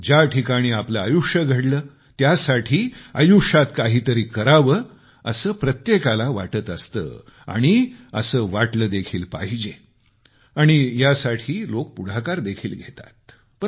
ज्या ठिकाणी आपले आयुष्य घडले त्यासाठी आयुष्यात काहीतरी करावे असे प्रत्येकाला वाटत असते आणि असे वाटले देखील पाहिजे आणि यासाठी लोकं पुढाकार देखील घेतात